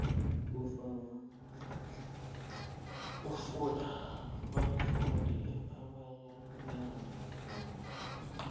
kunabafundi abanengi namkha